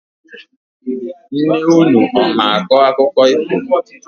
Nne unu ọ mara akọ akụkọ ifo?